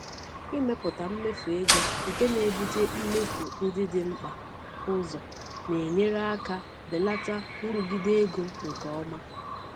Ịmepụta mmefu ego nke na-ebute mmefu ndị dị mkpa ụzọ na-enyere aka belata nrụgide ego nke ọma.